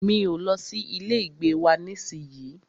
Mi o lọ sí ilé ìgbé wa nísìyí.